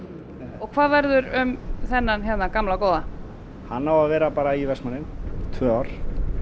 og hvað verður um þennan hérna gamla góða hann á að vera bara í Vestmannaeyjum í tvö ár